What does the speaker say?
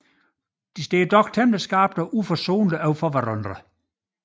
De står dog relativt skarpt og uforsonligt overfor hinanden